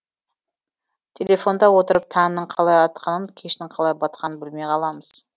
телефонда отырып таңның қалай атқанын кештің қалай батқанын білмей қаламыз